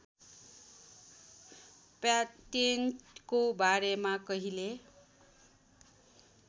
प्याटेन्टको बारेमा कहिले